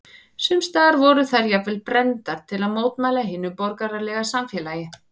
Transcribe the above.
Sums staðar voru þær jafnvel brenndar til að mótmæla hinu borgaralega samfélagi.